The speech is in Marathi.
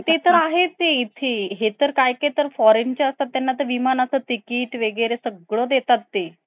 mandarin chinese language मध्ये आहे काहीच english मध्ये सुद्धा नाही आणि हे तुम्ही taxi driver ला तुम्ही सांगता नय येत ए exact address अं आणि तुम्हाला किती पैशे मागताय काय मागताय ते नाय कडत ए